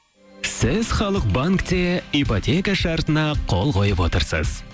сіз халық банкте ипотека шартына қол қойып отырсыз